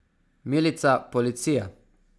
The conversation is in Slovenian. Milica, policija.